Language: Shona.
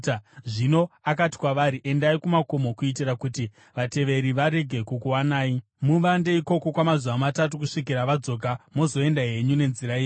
Zvino akati kwavari, “Endai kumakomo kuitira kuti vateveri varege kukuwanai. Muvande ikoko kwamazuva matatu kusvikira vadzoka, mozoenda henyu nenzira yenyu.”